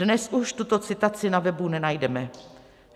Dnes už tuto citaci na webu nenajdeme.